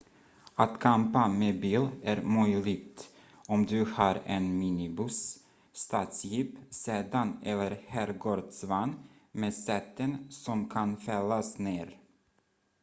att campa med bil är möjligt om du har en minibuss stadsjeep sedan eller herrgårdsvagn med säten som kan fällas ner